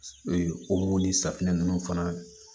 o ni safinɛ ninnu fana